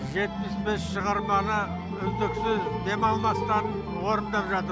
жетпіс бес шығарманы үздіксіз демалмастан орындап жатыр